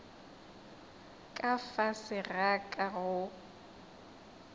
ka fase ga ka go